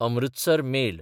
Amritsar mail